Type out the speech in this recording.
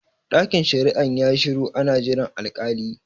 Ɗakin shari'an yayi shiru ana jiran al-kali